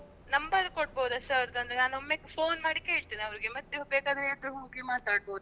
ನಂಗೊಂದು ನೀವು number ಕೊಡ್ಬೋದ sir ದು ಅಂದ್ರೆ ನಾನ್ ಒಮ್ಮೆ phone ಮಾಡಿ ಕೇಳ್ತೇನೆ ಅವರಿಗೆ ಮತ್ತೆ ಬೇಕಾದ್ರೆ ಎದುರ್ ಹೋಗಿ ಮಾತಾಡ್ಬೋದು ಅಲ್ಲ.